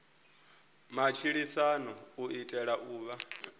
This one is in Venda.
matshilisano u itela u vha